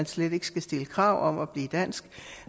slet ikke skal stilles krav for at blive dansk